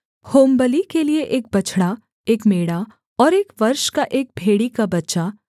होमबलि के लिये एक बछड़ा एक मेढ़ा और एक वर्ष का एक भेड़ी का बच्चा